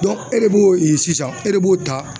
e de b'o e sisan e de b'o ta